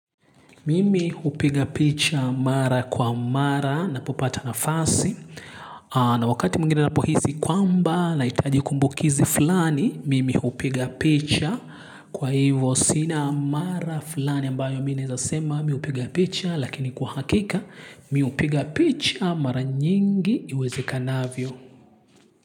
Mimi upiga picha mara kwa mara napo pata nafasi na wakati mwingine napohisi kwamba na itaji kumbukizi fulani mimi upiga picha kwa hivyo sina mara fulani ambayo mi naeza sema mi hupiga picha lakini kwa hakika mi hupiga picha mara nyingi iweze kanavyo.